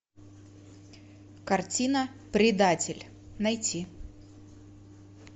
картина предатель найти